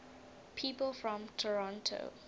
people from toronto